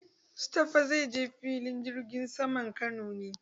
Mustapha zai je filin jirgin saman Kano.